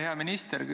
Hea minister!